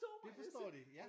De forstår det ja!